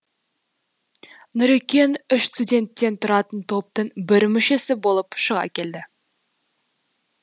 нұрекең үш студенттен тұратын топтың бір мүшесі болып шыға келеді